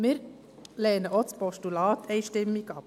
Wir lehnen auch das Postulat einstimmig ab.